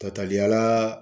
Tataliyala